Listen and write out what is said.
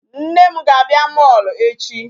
Nne m ga-abịa mall echi.